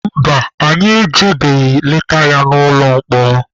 Mba, anyị agabeghị leta ya n'ụlọ mkpọrọ.